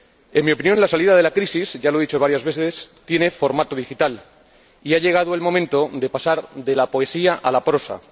En mi opinión, la salida de la crisis —ya lo he dicho varias veces— tiene formato digital y ha llegado el momento de pasar de la poesía a la prosa.